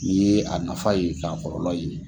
N'i ye a nafa ye k'a kɔlɔlɔ ye.